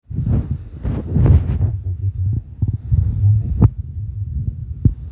ore ena moyian orkurt naa mesesh ejing iltunganak